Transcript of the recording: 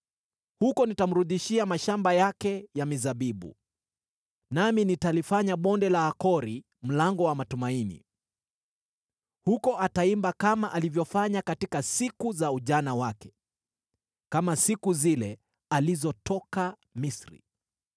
Huko nitamrudishia mashamba yake ya mizabibu, nami nitalifanya Bonde la Akori mlango wa matumaini. Huko ataimba kama alivyofanya katika siku za ujana wake, kama siku zile alizotoka Misri.